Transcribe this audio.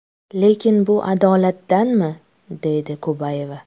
Lekin bu adolatdanmi?”, deydi Kubayeva.